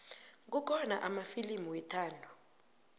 kukhona amafilimu wethando